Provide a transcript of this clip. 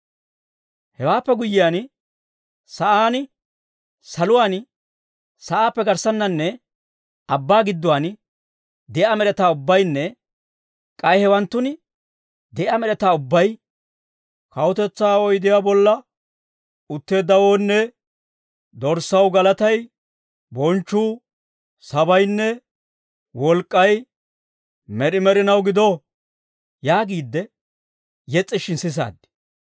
Hewaappe guyyiyaan, sa'aan, saluwaan, sa'aappe garssaaninne abbaa gidduwaan de'iyaa med'etaa ubbaynne k'ay hewaanttun de'iyaa med'etaa ubbay, «Kawutetsaa oydiyaa bolla, utteeddawoonne Dorssaw, galatay, bonchchuu, sabaynne wolk'k'ay, med'i med'inaw gido!» yaagiide yes's'ishin sisaad.